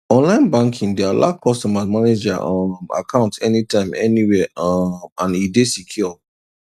online banking dey allow customers manage their um account anytime anywhere um and e dey secure